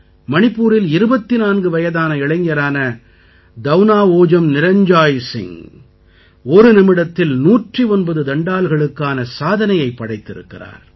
மணிப்பூரில் 24 வயதான இளைஞரான தௌனாஓஜம் நிரஞ்ஜாய் சிங் ஒரு நிமிடத்தில் 109 தண்டால்களுக்கான சாதனையைப் படைத்திருக்கிறார்